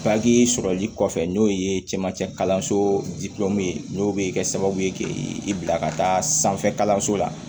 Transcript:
sɔrɔli kɔfɛ n'o ye camancɛ kalanso n'o bɛ kɛ sababu ye k'i bila ka taa sanfɛ kalanso la